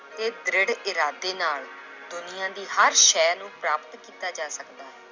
ਤੇ ਦ੍ਰਿੜ ਇਰਾਦੇ ਨਾਲ ਦੁਨੀਆਂ ਦੀ ਹਰ ਸੈਅ ਨੂੰ ਪ੍ਰਾਪਤ ਕੀਤਾ ਜਾ ਸਕਦਾ ਹੈ।